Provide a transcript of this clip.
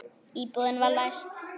Íbúðin var læst.